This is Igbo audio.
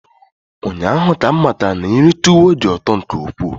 Ụnyaahụ ka m matara na nri tuwo dị ụtọ nke ukwuu.